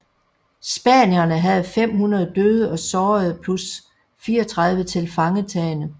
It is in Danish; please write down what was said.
Spanierne havde 500 døde og sårede plus 34 tilfangetagne